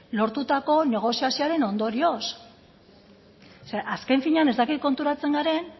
lortutako negoziazioaren ondorioz o sea azken finean ez dakit konturatzen garen